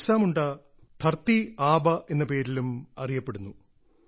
ബിർസ മുണ്ടയുടെ ധർത്തി ആബ എന്ന പേരിലും അറിയപ്പെടുന്നു